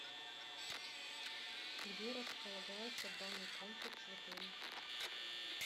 где располагается банный комплекс в отеле